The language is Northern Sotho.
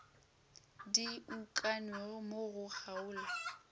di ukangwego mo go kgaolo